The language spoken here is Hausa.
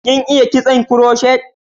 Kin iya kitson kuroshet?